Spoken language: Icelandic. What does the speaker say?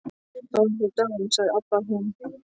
Þá væru þau dáin, sagði Abba hin.